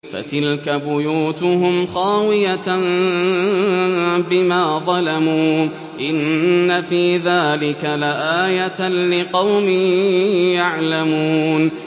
فَتِلْكَ بُيُوتُهُمْ خَاوِيَةً بِمَا ظَلَمُوا ۗ إِنَّ فِي ذَٰلِكَ لَآيَةً لِّقَوْمٍ يَعْلَمُونَ